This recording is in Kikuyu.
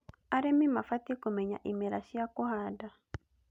Arĩmĩ mabatiĩ kũmenya imera cia kũhanda